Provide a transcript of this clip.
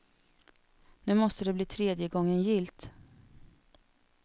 Nu måste det bli tredje gången gillt.